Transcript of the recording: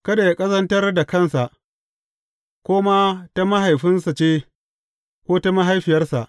Kada yă ƙazantar da kansa, ko ma ta mahaifinsa ce ko ta mahaifiyarsa.